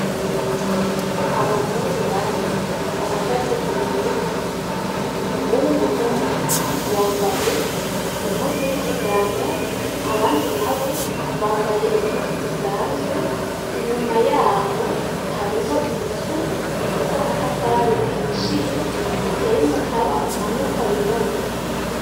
Abahungu bane bahagaze imbere y'inzu, umuhungu umwe yambaye impuzu y'ikiganga, abandi nabo bambaye impuzu zisanzwe, inyuma yaho hariho inzu ifise amatafari ahishiye iteye umukaba umanuka w'irabura.